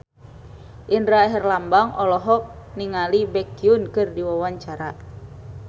Indra Herlambang olohok ningali Baekhyun keur diwawancara